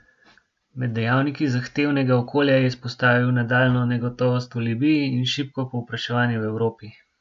Med dejavniki zahtevnega okolja je izpostavil nadaljnjo negotovost v Libiji in šibko povpraševanje v Evropi.